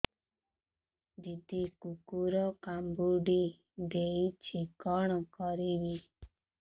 ଦିଦି କୁକୁର କାମୁଡି ଦେଇଛି କଣ କରିବି